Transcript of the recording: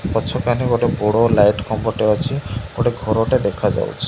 ପଛ କାନେ ଗୋଟେ ବଡ଼ ଲାଇଟ୍ ଖମ୍ବ ଟେ ଅଛି। ଗୋଟେ ଘର ଟେ ଦେଖା ଯାଉଛି।